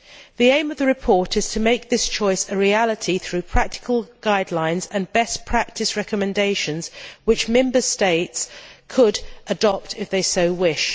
The aim of the report is to make this choice a reality through practical guidelines and best practice recommendations which Member States could adopt if they so wish.